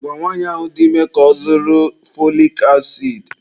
Gwa nwaanyị ahụ dị ime ka ọ zụrụ fọlik asidi.